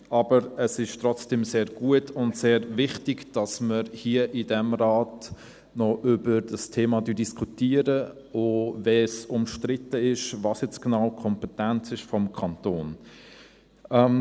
Aber es ist trotzdem sehr gut und sehr wichtig, dass wir hier in diesem Rat noch über dieses Thema diskutieren, auch wenn umstritten ist, was genau die Kompetenz des Kantons ist.